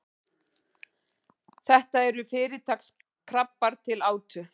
þetta eru fyrirtaks krabbar til átu